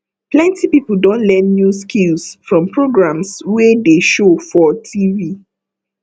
plenty people don learn new skills from programs wey dey show for tv